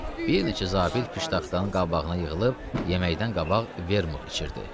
Bir neçə zabit piştaxtanın qabağına yığılıb yeməkdən qabaq Vermut içirdi.